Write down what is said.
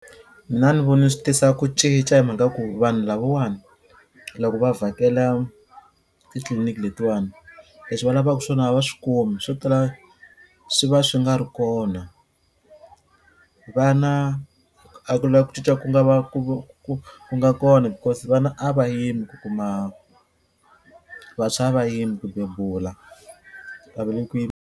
Mina a ni voni swi tisa ku cinca hi mhaka ku vanhu lavawani loko va vhakela titliliniki letiwani leswi va lavaku swona va swi kumi swo tala swi va swi nga ri kona vana a ku na ku cinca ku nga va ku ku ku nga kona because vana a va yimi ku kuma vantshwa a va yimi ku bebula a va le ku .